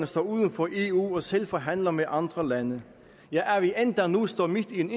står uden for eu og selv forhandler med andre lande ja at vi endda nu står midt i en